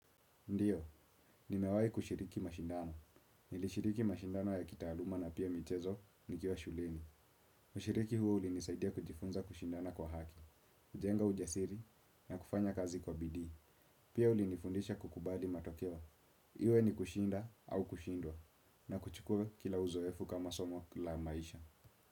Ndio, nimewahi kushiriki mashindano. Nilishiriki mashindano ya kitaaluma na pia michezo nikiwa shuleni. Ushiriki huo ulinisaidia kujifunza kushindana kwa haki, kujenga ujasiri na kufanya kazi kwa bidii. Pia ulinifundisha kukubali matokeo. Iwe ni kushinda au kushindwa na kuchukua kila uzoefu kama somo la maisha.